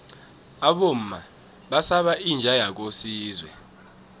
abomma basaba inja yakosizwe